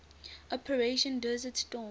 operation desert storm